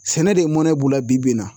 Sɛnɛ de mɔnɛ b'u la bi bi in na